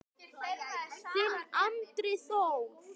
Þinn Andri Þór.